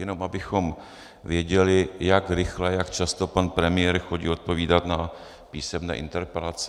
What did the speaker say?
Jenom abychom věděli, jak rychle, jak často pan premiér chodí odpovídat na písemné interpelace.